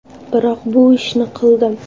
Biroq bu ishni qildim.